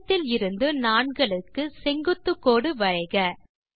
மையத்தில் இருந்து நாண்களுக்கு செங்குத்துக் கோடு வரைக